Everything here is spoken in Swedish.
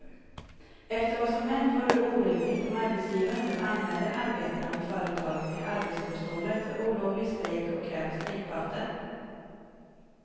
Efter vad som har hänt vore det orimligt om arbetsgivaren nu anmäler arbetarna vid företaget till arbetsdomstolen för olovlig strejk och kräver strejkböter.